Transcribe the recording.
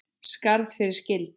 Skarð fyrir skildi